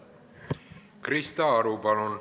Krista Aru, palun!